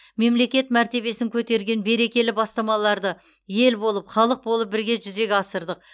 мемлекет мәртебесін көтерген берекелі бастамаларды ел болып халық болып бірге жүзеге асырдық